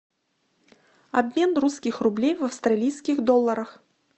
обмен русских рублей в австралийских долларах